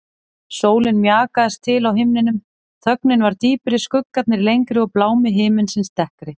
Sólin mjakaðist til á himninum, þögnin varð dýpri, skuggarnir lengri og blámi himinsins dekkri.